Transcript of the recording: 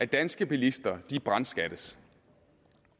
danske bilister brandskattes